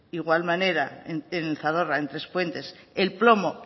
igual manera en el zadorra en trespuentes el plomo